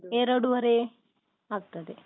ಎರಡುವರೆ ಆಗ್ತದೆ.